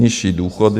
Nižší důchody.